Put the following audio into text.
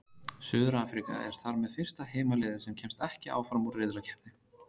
Suður-Afríka er þar með fyrsta heimaliðið sem kemst ekki áfram úr riðlakeppni.